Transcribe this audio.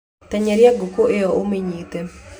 Tenyeria ngũkũ ĩyo ũmĩnyite